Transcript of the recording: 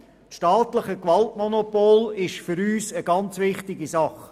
Das staatliche Gewaltmonopol ist für uns eine ganz wichtige Sache.